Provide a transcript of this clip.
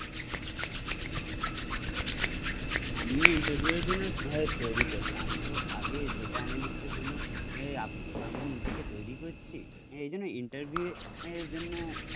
আমিও ইন্টারভিউয়ের জন্য তৈরি করছি, আমি তো আগে ডাটা এনালিস্ট এর জন্য আমি নিজেকে তৈরি করছি, এজন্য ইন্টারভিউ এর জন্য